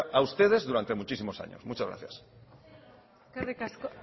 cara a ustedes durante muchísimos años muchas gracias eskerrik asko